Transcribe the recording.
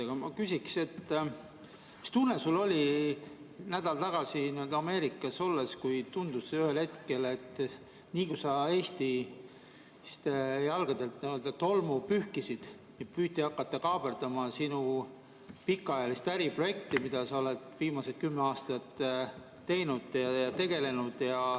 Aga ma küsiksin, mis tunne sul oli nädal tagasi Ameerikas olles, kui ühel hetkel tundus, et nii kui sa olid Eesti tolmu jalgadelt pühkinud, püüti hakata kaaperdama sinu pikaajalist äriprojekti, millega sa oled viimased kümme aastat tegelenud.